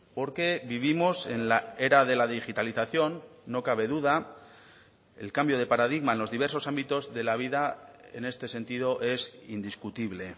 porque vivimos en la era de la digitalización no cabe duda el cambio de paradigma en los diversos ámbitos de la vida en este sentido es indiscutible